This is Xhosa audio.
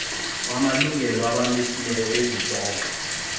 wamlungelo abamilisi bezityalo